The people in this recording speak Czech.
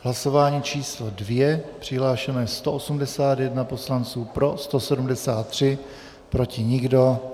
Hlasování číslo 2, přihlášeno je 181 poslanců, pro 173, proti nikdo.